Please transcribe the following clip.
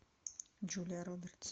джулия робертс